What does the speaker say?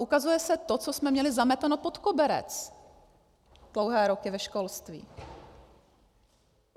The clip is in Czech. Ukazuje se to, co jsme měli zameteno pod koberec dlouhé roky ve školství.